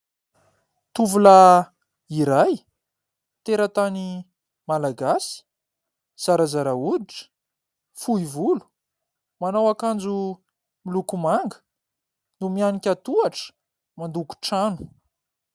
Tovolahy iray, teratany Malagasy, zarazara hoditra, fohy volo, manao akanjo miloko manga no mianika tohatra mandoko trano.